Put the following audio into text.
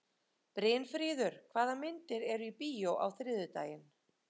Brynfríður, hvaða myndir eru í bíó á þriðjudaginn?